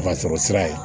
Nafasɔrɔ sira ye